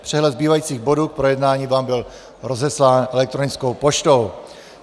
Přehled zbývajících bodů k projednání vám byl rozeslán elektronickou poštou.